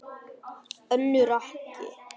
Önnur ekki.